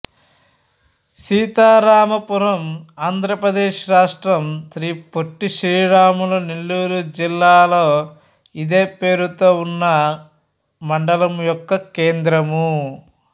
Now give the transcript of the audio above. సీతారామపురం ఆంధ్ర ప్రదేశ్ రాష్ట్రం శ్రీ పొట్టి శ్రీరాములు నెల్లూరు జిల్లాలో ఇదే పేరుతో ఉన్న మండలం యొక్క కేంద్రము